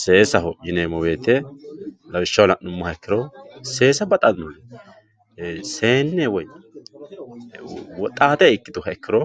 seesaho yineemmo ikkiro lawishshaho la'nummoha ikkiro seessa baxannori seenne woy woxaate ikkituha ikkiro